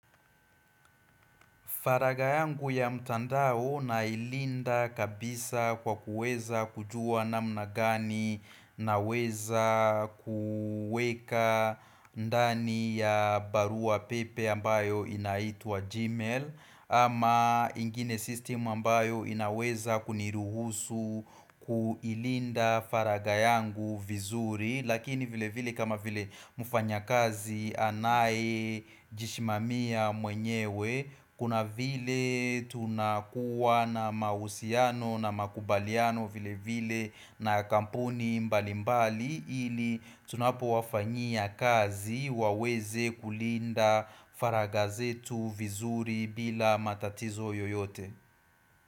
Faraga yangu ya mtandao nailinda kabisa kwa kuweza kujua namna gani naweza kueka ndani ya barua pepe ambayo inaitwa Gmail ama ingine system ambayo inaweza kuniruhusu kuilinda faraga yangu vizuri Lakini vile vile kama vile mfanyakazi anaye jishimamia mwenyewe Kuna vile tunakuwa na mahusiano na makubaliano vile vile na kampuni mbali mbali ili tunapowafanyia kazi waweze kulinda faraga zetu vizuri bila matatizo yoyote.